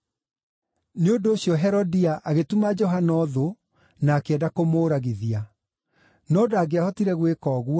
Nĩ ũndũ ũcio Herodia agĩtuma Johana ũthũ na akĩenda kũmũũragithia. No ndangĩahotire gwĩka ũguo,